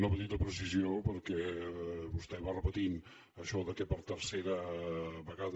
una petita precisió perquè vostè va repetint això que per tercera vegada